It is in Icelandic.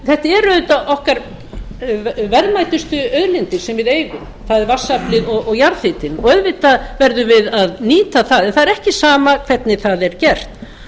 iðnað þetta eru auðvitað okkar verðmætustu auðlindir sem við eigum það er vatnsaflið og jarðhitinn auðvitað verðum við að nýja það en það er ekki sama hvernig það er gert